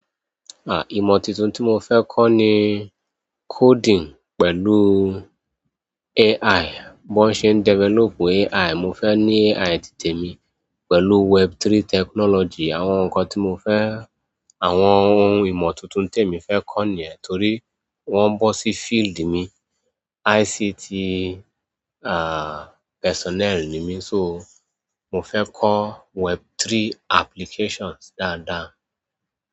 À, ìmọ̀ tuntun tí mo fẹ́ kọ́ ni coding pẹ̀lú AI. Bọ́n ṣe ń develop AI, mo fẹ́ ní AI titẹ̀ mi pẹ̀lú Web3 technology. Àwọn nǹkan tí mo fẹ́, àwọn ohun ìmọ̀ tuntun tí èmi fẹ́ kọ́ nìyẹn torí o ń bọ́ sí field mi. ICT, à, personnel ni mí, so mo fẹ́ kọ́ Web3 applications dáadáa.